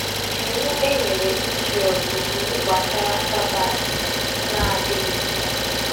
Iwu e nyere Izrel bụ íwú gbasara Sabbath na adịghịzi